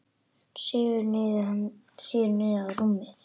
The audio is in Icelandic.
Hann sígur niður á rúmið.